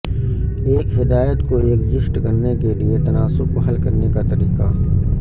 ایک ہدایت کو ایڈجسٹ کرنے کے لئے تناسب کو حل کرنے کا طریقہ